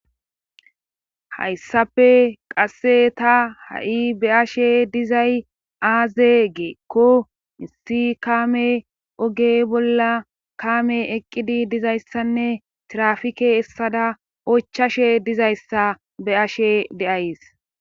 hayssafe qasse ta ha7i be ashe dizay aaze geekko issi kaame oge bolla kaame eqqidi dizayssanne trafike essada ochashe dizayssa be ashe deays